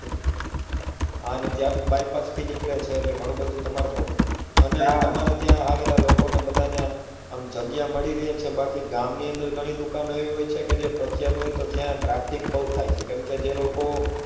હા ને ત્યાં બી bypass થી નીકળે છે તો એટલે ઘણું બધી ત્યાં public અને તમાર ત્યાં આવેલા લોકો ને બધા ને આમ જગ્યા મળી રે છે બાકી ગામ ની અંદર ઘણી દુકાનો એવી હોય છે કે જે પ્રખ્યાત હોય તો ત્યાં traffic બઉ થાય છે કેમ કે તે લોકો